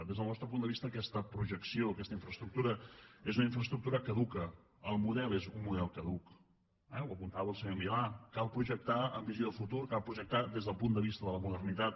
des del nostre punt de vista aquesta projecció aquesta infraestructura és una infraestructura caduca el model és un model caduc eh ho apuntava el senyor milà cal projectar amb visió de futur cal projectar des del punt de vista de la modernitat